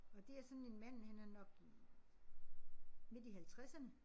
Og det er sådan en mand han er nok hm midt i halvtredserne